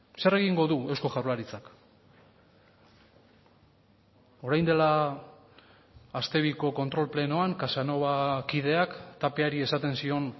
zer egingo du eusko jaurlaritzak orain dela aste biko kontrol plenoan casanova kideak tapiari esaten zion